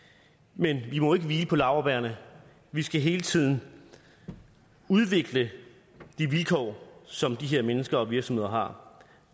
men vi må ikke hvile på laurbærrene vi skal hele tiden udvikle de vilkår som de her mennesker og virksomheder har